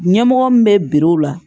Ɲɛmɔgɔ min bɛ biri o la